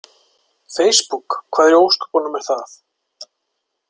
Feisbúk, hvað í ósköpunum er það?